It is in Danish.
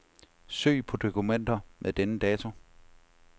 Søg på dokumenter med denne dato.